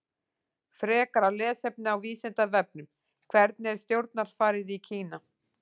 Frekara lesefni á Vísindavefnum: Hvernig er stjórnarfarið í Kína?